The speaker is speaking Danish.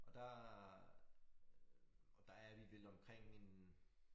Og der og der er vi vel omkring en